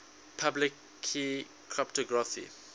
public key cryptography